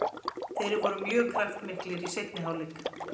Þeir voru mjög kraftmiklir í seinni hálfleik.